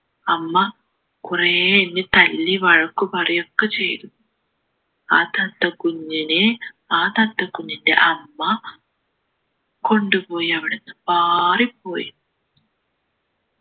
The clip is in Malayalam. അമ്മ കുറേ എന്നെ തല്ലി വഴക്ക് പറയു ഒക്കെ ചെയ്തു ആ തത്ത കുഞ്ഞിനെ ആ തത്ത കുഞ്ഞിൻ്റെ അമ്മ കൊണ്ടുപോയി അവിടുന്ന് പാറിപ്പോയി